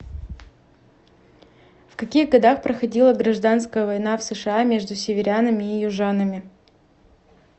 в каких годах проходила гражданская война в сша между северянами и южанами